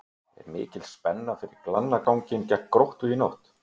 Er mikil spenna fyrir grannaslaginn gegn Gróttu í kvöld?